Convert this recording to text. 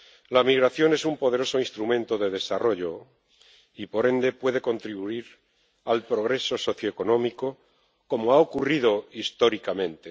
La migración es un poderoso instrumento de desarrollo y, por ende, puede contribuir al progreso socioeconómico, como ha ocurrido históricamente.